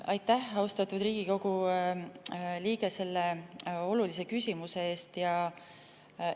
Aitäh, austatud Riigikogu liige, selle olulise küsimuse eest!